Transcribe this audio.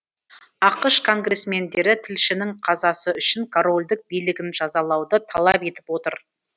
ақш конгрессмендері тілшінің қазасы үшін корольдік билігін жазалауды талап етіп отыр